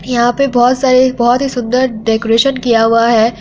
यहाँ पे बहुत सारे बहुत ही सुन्दर डेकोरेशन किया हुआ है।